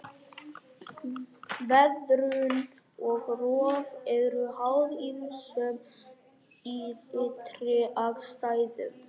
Veðrun og rof eru háð ýmsum ytri aðstæðum.